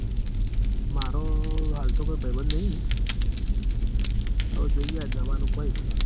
મારો હાલ તો કોઈ ભૈબંદ નઈ.